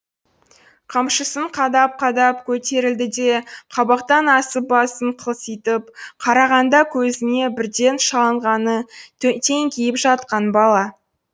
қамшысын қадап қадап көтерілді де қабақтан асып басын қылтитып қарағанда көзіне бірден шалынғаны теңкиіп жатқан бала